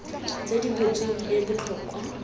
tse di butsweng e botlhokwa